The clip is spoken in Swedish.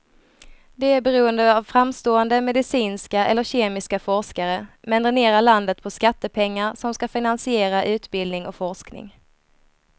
Det är beroende av framstående medicinska eller kemiska forskare, men dränerar landet på skattepengar som ska finansiera utbildning och forskning.